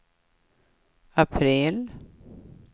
april